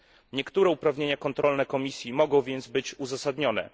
Niektóre uprawnienia kontrolne Komisji mogą więc być uzasadnione.